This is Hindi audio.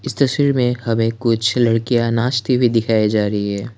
इस तस्वीर में हमें कुछ लड़कियां नाचती भी दिखाए जा रही है।